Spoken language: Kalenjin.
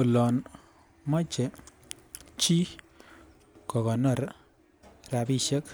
Olon moche chii kokonor rabishek